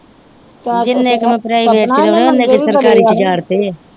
ਜਿਨ੍ਹੇ ਕਾ ਮੈ ਪ੍ਰਾਈਵੇਟ ਤੇ ਲਾਉਣੇ ਆ ਉਹਨੇ ਕ ਸਰਕਾਰੀ ਚ ਉਜਾਰਤੇ ਆ।